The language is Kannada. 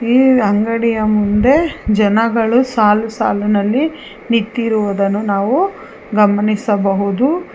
ಈ ಅಂಗಡಿಯ ಮುಂದೆ ಜನಗಳು ಸಾಲು ಸಾಲುನಲ್ಲಿ ನಿಂತಿರುವುದನ್ನ ನಾವು ಗಮನಿಸಬಹುದು.